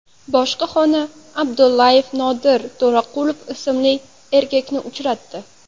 Boshqa xona Abdullayev Nodir To‘raqulov ismli erkakni uchratdi.